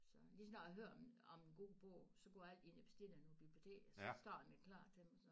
Så lige så snart jeg hører om om en god bog så går jeg altid ind og bestiller den på biblioteket så står den jo klar til mig